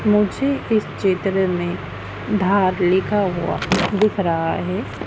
मुझे इस चित्र में धार लिखा हुआ दिख रहा है।